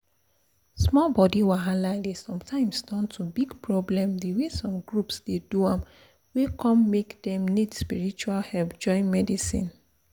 small body wahala dey sometimes turn to big problem the way some groups dey do am wey come make dem need spiritual help join medicine